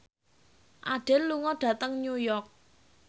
Adele lunga dhateng New York